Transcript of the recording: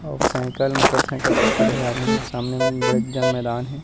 अउ cycle motorcycle सब खड़े हे आघु में अउ सामने में बड़े जान मैदान हे।